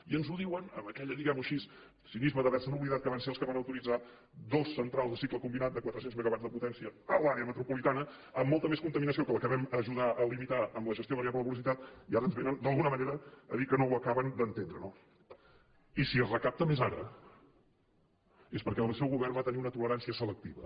i ens ho diuen amb aquell diguem ho així cinisme d’haver se oblidat que van ser els que van autoritzar dues centrals de cicle combinat de quatre cents megawatts de potència a l’àrea metropolitana amb molta més contaminació que la que vam ajudar a limitar amb la gestió variable de la velocitat i ara ens vénen d’alguna manera a dir que no ho acaben d’entendre no i si es recapta més ara és perquè el seu govern va tenir una tolerància selectiva